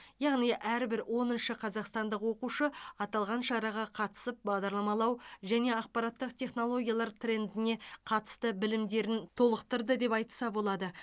яғни әрбір оныншы қазақстандық оқушы аталған шараға қатысып бағдарламалау және ақпараттық технологиялар трендіне қатысты білімдерін толықтырды деп айтса болады